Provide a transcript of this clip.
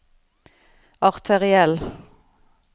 arteriell